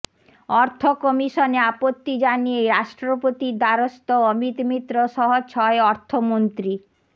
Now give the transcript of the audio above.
অর্থ কমিশনে আপত্তি জানিয়ে রাষ্ট্রপতির দ্বারস্থ অমিত মিত্র সহ ছয় অর্থমন্ত্রী